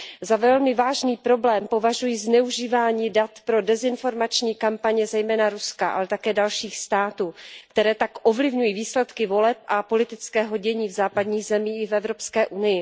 Za velmi vážný problém považuji zneužívání dat pro dezinformační kampaně zejména Ruska, ale také dalších států, které tak ovlivňují výsledky voleb a politického dění v západních zemí i v EU.